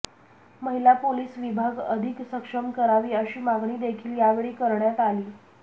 महिला पोलीस विभाग अधिक सक्षम करावी अशी मागणी देखील यावेळी करण्यात आली